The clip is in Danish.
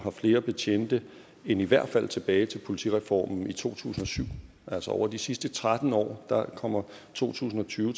har flere betjente end i hvert fald tilbage til politireformen i to tusind og syv over de sidste tretten år kommer to tusind og tyve